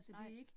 Nej